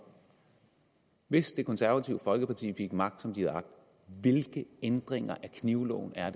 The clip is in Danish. hvis det konservative folkeparti fik magt som de har agt hvilke ændringer af knivloven er